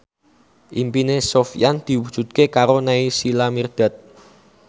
impine Sofyan diwujudke karo Naysila Mirdad